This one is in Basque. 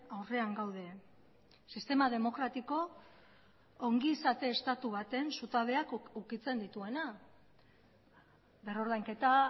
aurrean gaude sistema demokratiko ongizate estatu baten zutabeak ukitzen dituena berrordainketa